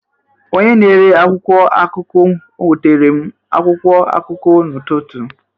Onye na-ere akwụkwọ akụkụ o nwetere m akwụkwọ akụkụ n'ụtụtụ?